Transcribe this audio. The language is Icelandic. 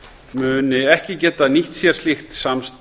muni ekki geta nýtt sér slíkt samstarf